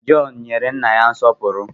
John nyere nne ya nsọpụrụ